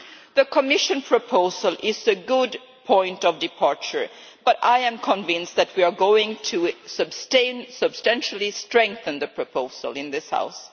The Commission proposal is a good point of departure, but I am convinced that we are going to substantially strengthen the proposal in this House.